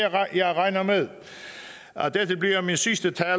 jeg regner med at dette bliver min sidste tale